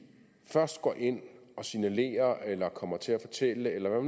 først går ind og signalerer eller kommer til at fortælle eller